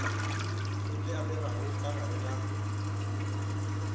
le amegago ka gare ga